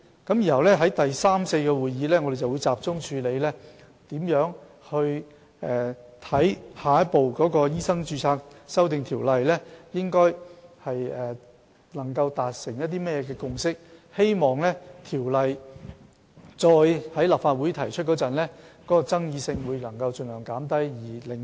然後在第三次和第四次會議上，我們會集中處理如何在下一步就修訂《醫生註冊條例》達成甚麼共識，希望條例草案再次提交立法會時，能盡量減少爭議，盡快獲得通過，以改善醫委會的運作。